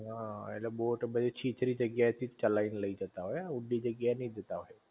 હ ઍટલે બોટ બધી છીછરી જગ્યા એ થી જ ચલાઈ ને લઈ જતાં હોય ઊંડી જગ્યા એ નહિ જતાં હોય